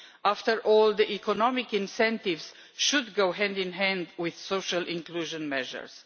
After all, the economic incentives should go hand in hand with social inclusion measures.